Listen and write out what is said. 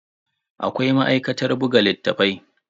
Akwai ma'aikatar buga littattafai.